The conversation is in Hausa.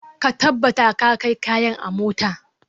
Ka tabbata ka kai kayan a mota.